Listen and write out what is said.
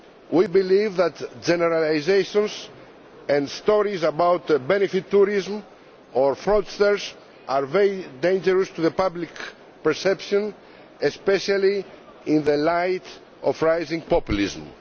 We believe that generalisations and stories about benefit tourism or fraudsters are very dangerous to the public perception, especially in the light of rising populism.